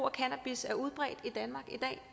af cannabis er udbredt i i dag